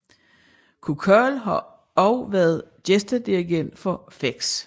Kukal har også været gæstedirigent for feks